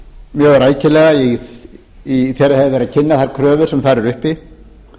mjög rækilega þegar hefir verið að kynna þær kröfur sem þar eru uppi